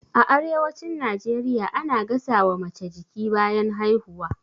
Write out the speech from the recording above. A arewacin najeriya ana gasa wa mace jiki bayan haihuwa